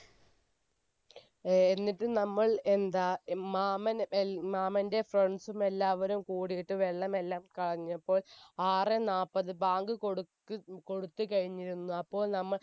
എന്നിട്ട് നമ്മൾ എന്താ മാമൻറെ friends ഉം എല്ലാവരും കൂടിയിട്ട് വെള്ളമെല്ലാം കളഞ്ഞപ്പോൾ ആറ് നാല്പത് ബാങ്ക് കൊടുത്ത് കൊടുത്ത് കഴിഞ്ഞിരുന്നു അപ്പോൾ നമ്മൾ